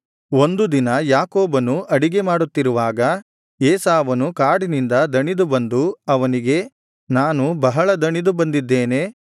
ಒಂದು ದಿನ ಯಾಕೋಬನು ಅಡಿಗೆ ಮಾಡುತ್ತಿರುವಾಗ ಏಸಾವನು ಕಾಡಿನಿಂದ ದಣಿದು ಬಂದು ಅವನಿಗೆ ನಾನು ಬಹಳ ದಣಿದು ಬಂದಿದ್ದೇನೆ